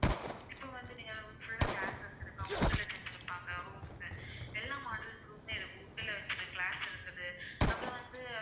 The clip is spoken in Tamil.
இப்ப வந்து நீங்க full ஆ glasses இருக்கும் wood ல செஞ்சிருப்பாங்க rooms எல்லா model room மே இருக்கு wood ல வெச்சது glass இருக்குது அப்புறம் வந்து